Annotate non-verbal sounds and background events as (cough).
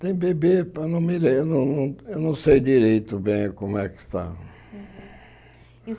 Tem bebê, (unintelligible) não me lembro não não eu não sei direito bem como é que está. Uhum